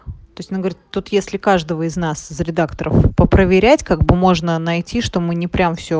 то есть она говорит тут если каждого из нас за редакторов попроверять как бы можно найти что мы не прям все